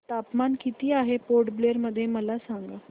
तापमान किती आहे पोर्ट ब्लेअर मध्ये मला सांगा